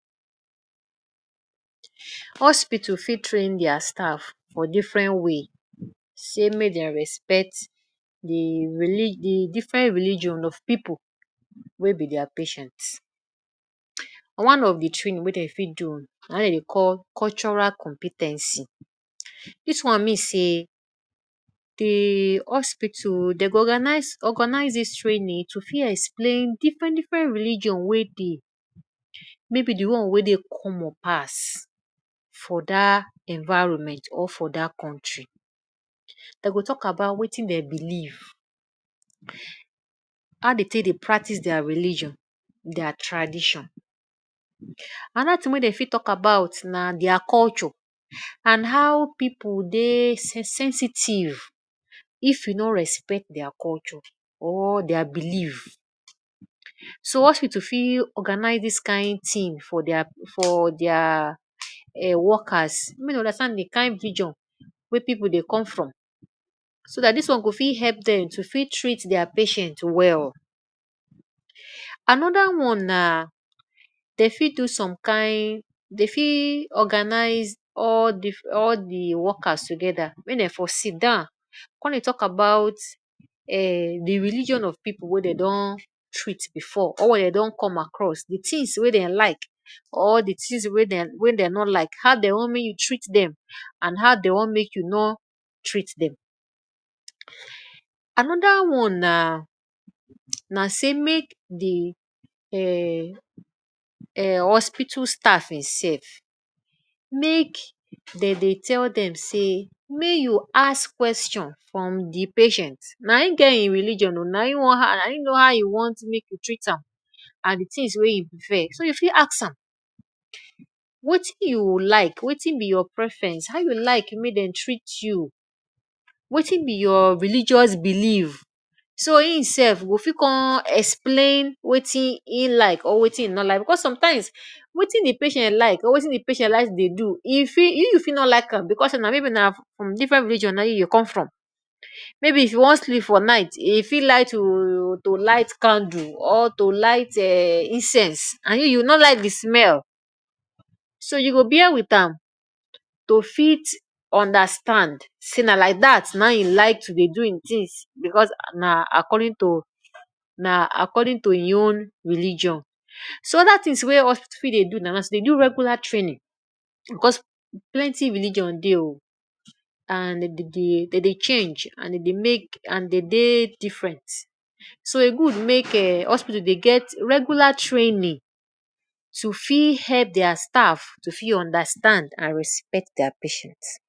Hospital fit train dia staff for different way, sey make dem respect de reli de different religion of pipu wey be dia patients one of the wey dem fit do na im den dey call cultural compe ten cy, dis one mean sey de hospital dey go organize organize dis training to fit explain different different religion wey dey maybe de one wey dey common pass for dat environment or for dat country, dem go talk about wetin dem believe, how dey take dey practice dia religion, dia tradition, another thing wey dem fit talk about na dia culture and how people dey sensitive if you no respect their culture or dia believe, so hospital fit organize dis kin thing for dia for dia workers make dem understand de kin religion wey pipu dey come from so dat dis one go fit help dem to fit treat their patient well. Another one na dey fit do some kain dey fit organize all difff all de workers together make dem for sit down come dey talk about um de religion of pipu wey dem don treat before or wey dem don come across di things wey dem like or di things wey dem no like how dem want make you treat dem and how dem want make you no treat dem. Another one na na sey make de um um hospital staff itself make dem dey tell dem sey make you ask question from de patient na im get im religion ooo na im know how im want make you treat am and de things wey im prefer, so you fit ask am wetin you like wetin be your preference how you like make dem treat you wetin be your religious believe, so im self go fit come explain wetin im like or wetin im no like because sometimes wetin de patient like or wetin de patient like to dey do you you fit no like am because maybe na from different religion na im you come from maybe if im wan sleep for night im fit like to um light candle or to light um incense and you you no like de smell, so you go bare with am to fit understand sey na like dat na im im like to dey do hin things because na according to im own religion So oda things wey hospital fit dey do na to dey do regular training because plenty religion dey ooo and den dey dem dey change and dem dey make and dem dey dey different so e good make e hospital dey get regular training to fit help dia staff to fit understand and respect dia patients.